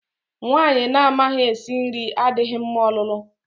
Nwaanyị na-amaghi esi nri adịghị mma ọlụlụ.